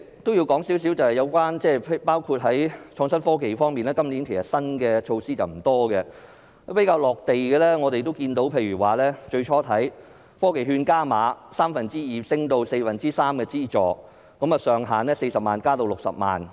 我也想談談有關創新科技方面，今年新措施並不多，比較"落地"的例子是科技券加碼，資助由三分之二提升至四分之三，上限由40萬元增至60萬元。